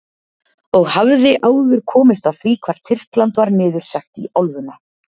Og hafði áður komist að því hvar Tyrkland var niður sett í álfuna.